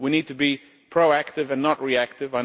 We need to be proactive and not reactive.